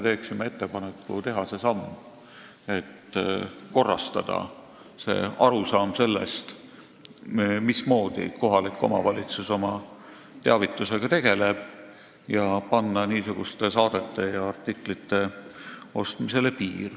Teeksime ettepaneku teha see samm, et korrastada arusaama sellest, mismoodi kohalik omavalitsus oma teavitusega tegeleb, ning panna niisuguste saadete ja artiklite ostmisele piir.